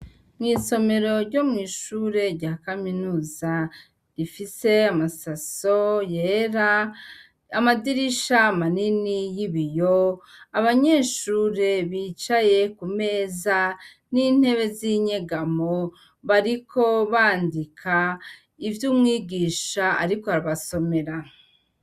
Mw'isomero ryo mw'ishure rya kaminuza rifise amasaso yera amadirisha manini y'ibiyo abanyeshure bicaye ku meza n'intebe z'inyegamo bariko bandika ivyo umwigisha, ariko abasomera.